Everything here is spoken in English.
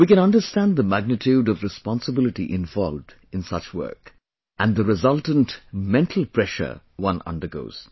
We can understand the magnitude of responsibility involved in such work...and the resultant mental pressure one undergoes